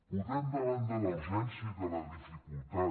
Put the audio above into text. podem davant de la urgència i de la dificultat